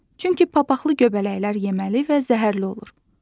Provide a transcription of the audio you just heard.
Çünki papaqqlı göbələklər yeməli və zəhərli olur.